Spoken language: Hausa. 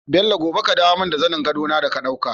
Bello gobe ka dawo mun da zanin gado na da ka ɗauka